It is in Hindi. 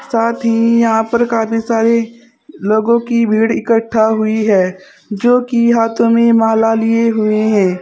साथ ही यहां पर काफी सारे लोगों की भीड़ इकट्ठा हुई है जो कि हाथों में माला लिए हुए हैं।